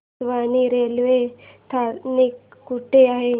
Kachewani railway स्थानक कुठे आहे